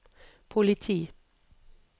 politi